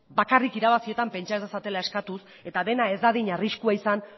bakarrik irabazietan pentsa ez dezatela eskatuz eta dena ez dadin arriskua izan